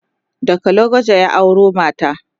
daga lokoja ya auro mata